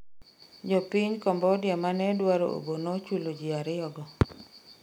jopiny Cambodia mane dwaro obo nochulo ji ariyogo